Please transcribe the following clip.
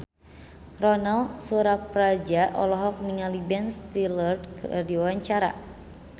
Ronal Surapradja olohok ningali Ben Stiller keur diwawancara